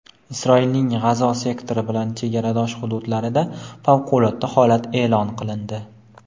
Isroilning G‘azo sektori bilan chegaradosh hududlarida favqulodda holat eʼlon qilindi.